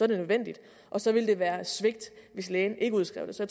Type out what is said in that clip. det nødvendigt og så ville det være et svigt hvis lægen ikke udskrev det så